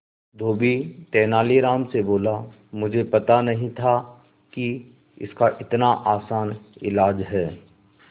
धोबी तेनालीराम से बोला मुझे पता नहीं था कि इसका इतना आसान इलाज है